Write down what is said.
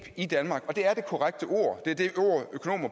i danmark og det er det korrekte ord det er det